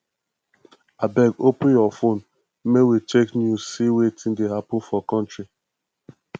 abeg open your fone make we check news see wetin dey happen for country